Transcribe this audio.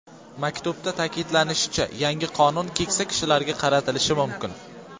Maktubda ta’kidlanishicha, yangi qonun keksa kishilarga qaratilishi mumkin.